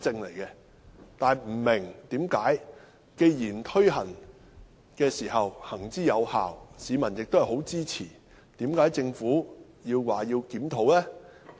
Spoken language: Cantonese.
但是，我不明白，既然這措施行之有效，而市民亦很支持，為甚麼政府要檢討？